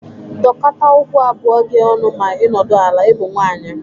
Dokọta ụkwụ abụọ gi ọnụ ma ị nọdụ ala. Ị bụ nwaanyị!